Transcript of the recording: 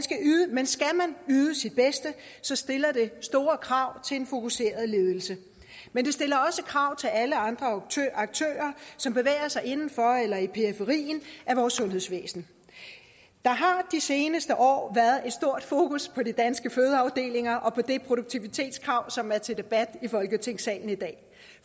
yde sit bedste stiller det store krav til en fokuseret ledelse men det stiller også krav til alle andre aktører som bevæger sig inden for eller i periferien af vores sundhedsvæsen der har de seneste år været stort fokus på de danske fødeafdelinger og på det produktivitetskrav som er til debat i folketingssalen i dag